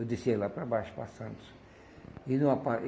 Eu descia lá para baixo para Santos. E não